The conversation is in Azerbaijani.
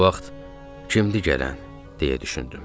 Bu vaxt kimdir gələn, deyə düşündüm.